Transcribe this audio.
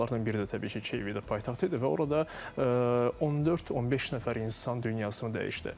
Onlardan biri də təbii ki, Kiyev idi paytaxt idi və orada 14-15 nəfər insan dünyasını dəyişdi.